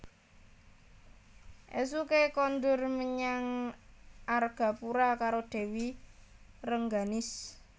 Ésuké kondur menyang Argapura karo Dèwi Rengganis